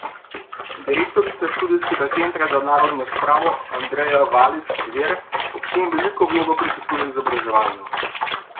Direktorica Študijskega centra za narodno spravo Andreja Valič Zver ob tem veliko vlogo pripisuje izobraževanju.